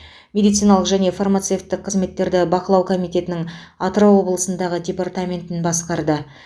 медициналық және фармацевтік қызметтерді бақылау комитетінің атырау облысындағы департаментін басқарды